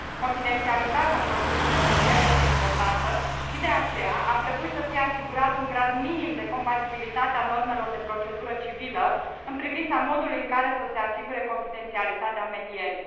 Confidențialitatea în procesul de mediere este importantă, și, de aceea, ar trebui să fie asigurat un grad minim de compatibilitate a normelor de procedură civilă în privința modului în care să se asigure confidențialitatea medierii.